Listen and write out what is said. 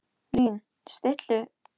Lín, stilltu tímamælinn á tólf mínútur.